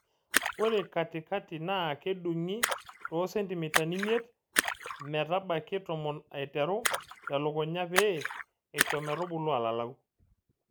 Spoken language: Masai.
Ore katikati naa kedungi too sentimitai imiet metabaiki tomon aiteru telukunya pee isho metubulu alalau.